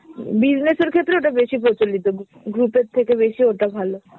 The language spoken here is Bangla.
business এর ক্ষেত্রে ওটা বেশি প্রচলিত gu~ group এর থেকে বেশি ওটা ভালো।